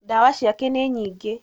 Ndawa ciake nĩ nyingĩ